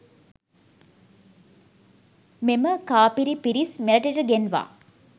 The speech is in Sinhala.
මෙම කාපිරි පිරිස් මෙරටට ගෙන්වා